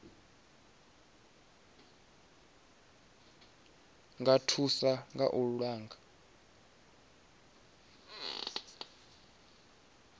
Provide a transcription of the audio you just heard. nga thusa kha u langa